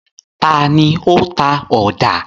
Ta ni ó ń ta ọ̀dà?